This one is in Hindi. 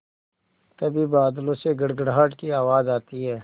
तभी बादलों से गड़गड़ाहट की आवाज़ आती है